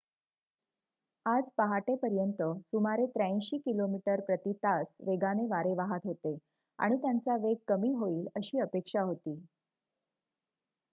आज पहाटेपर्यंत सुमारे ८३ किमी प्रति तास वेगाने वारे वाहत होते आणि त्यांचा वेग कमी होईल अशी अपेक्षा होती